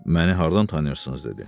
Məni hardan tanıyırsınız?